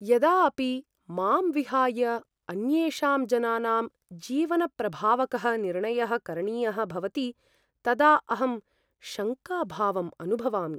यदा अपि मां विहाय अन्येषाम् जनानां जीवनप्रभावकः निर्णयः करणीयः भवति तदा अहं शङ्काभावम् अनुभवामि।